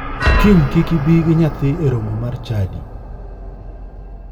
Kiny kik ibi gi nyathi e romo mar chadi.